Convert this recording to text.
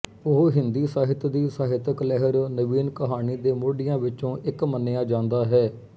ਉਹ ਹਿੰਦੀ ਸਾਹਿਤ ਦੀ ਸਾਹਿਤਕ ਲਹਿਰ ਨਵੀਨ ਕਹਾਣੀ ਦੇ ਮੋਢੀਆਂ ਵਿੱਚੋਂ ਇੱਕ ਮੰਨਿਆ ਜਾਂਦਾ ਹੈ